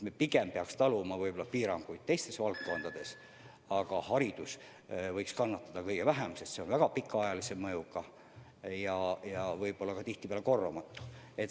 Me peaksime pigem taluma piiranguid teistes valdkondades, aga haridus võiks kannatada kõige vähem, sest see on väga pikaajalise mõjuga ja kahju võib olla tihtipeale korvamatu.